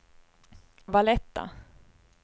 Valletta